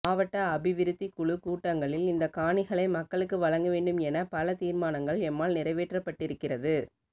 மாவட்ட அபிவிருத்தி குழு கூட்டங்களில் இந்த காணிகளை மக்களுக்கு வழங்கவேண்டும் என பல தீர்மானங்கள் எம்மால் நிறைவேற்றப்பட்டிருக்கிறது